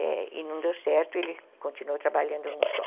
E não deu certo, ele continuou trabalhando num só.